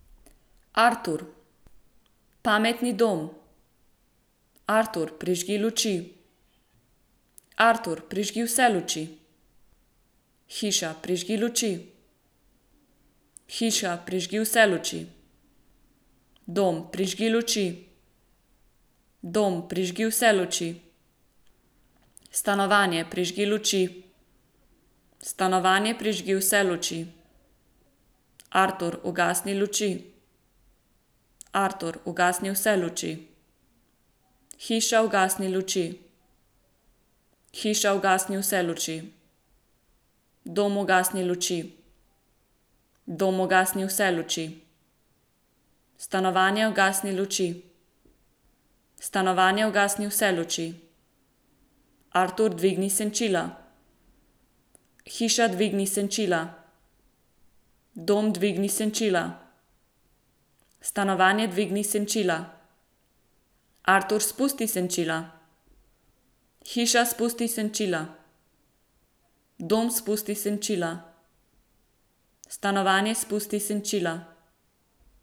Artur. Pametni dom. Artur, prižgi luči. Artur, prižgi vse luči. Hiša, prižgi luči. Hiša, prižgi vse luči. Dom, prižgi luči. Dom, prižgi vse luči. Stanovanje, prižgi luči. Stanovanje, prižgi vse luči. Artur, ugasni luči. Artur, ugasni vse luči. Hiša, ugasni luči. Hiša, ugasni vse luči. Dom, ugasni luči. Dom, ugasni vse luči. Stanovanje, ugasni luči. Stanovanje, ugasni vse luči. Artur, dvigni senčila. Hiša, dvigni senčila. Dom, dvigni senčila. Stanovanje, dvigni senčila. Artur, spusti senčila. Hiša, spusti senčila. Dom, spusti senčila. Stanovanje, spusti senčila.